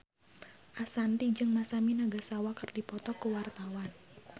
Ashanti jeung Masami Nagasawa keur dipoto ku wartawan